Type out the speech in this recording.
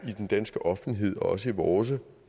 i den danske offentlighed og også i vores